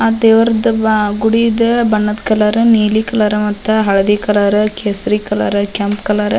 ಆ ದೇವ್ರದ್ ಗುಡಿದ್ ಬಣ್ಣದ್ ಕಲರ್ ನೀಲಿ ಕಲರ್ ಮತ್ತ ಹಳದಿ ಕಲರ್ ಕೇಸರಿ ಕಲರ್ ಕೆಂಪ್ ಕಲರ್ --